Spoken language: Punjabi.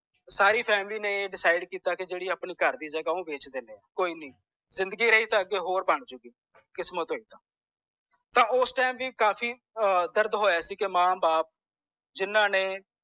ਸਾਰੀ family ਨੇ decide ਕੀਤਾ ਕਿ ਜੇਦੀ ਸਾਡੇ ਘਰ ਦੀ ਜਗਾਹ ਉਹ ਵੇਚ ਦੇਣੇ ਕੋਈ ਨੀ ਜ਼ਿੰਦਗੀ ਰਹੀ ਤਾਂ ਅੱਗੇ ਹੋਰ ਬਣ ਜੁ ਕਿਸਮਤ ਹੋਈ ਤਾਂ ਓਸ time ਕਾਫੀ ਦਰਦ ਹੋਇਆ ਸੀ ਕੇ ਮਾਂ ਬਾਪ ਜਿਨ੍ਹਾਂ ਨੇ